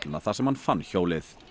þar sem hann fann hjólið